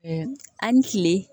an ni kile